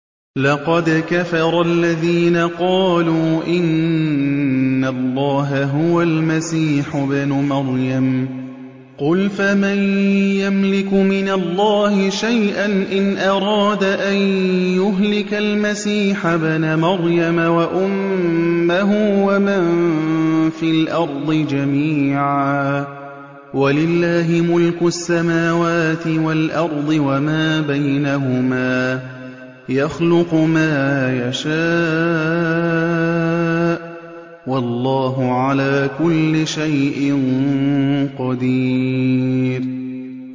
لَّقَدْ كَفَرَ الَّذِينَ قَالُوا إِنَّ اللَّهَ هُوَ الْمَسِيحُ ابْنُ مَرْيَمَ ۚ قُلْ فَمَن يَمْلِكُ مِنَ اللَّهِ شَيْئًا إِنْ أَرَادَ أَن يُهْلِكَ الْمَسِيحَ ابْنَ مَرْيَمَ وَأُمَّهُ وَمَن فِي الْأَرْضِ جَمِيعًا ۗ وَلِلَّهِ مُلْكُ السَّمَاوَاتِ وَالْأَرْضِ وَمَا بَيْنَهُمَا ۚ يَخْلُقُ مَا يَشَاءُ ۚ وَاللَّهُ عَلَىٰ كُلِّ شَيْءٍ قَدِيرٌ